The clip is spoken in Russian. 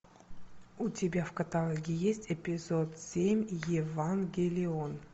у тебя в каталоге есть эпизод семь евангелион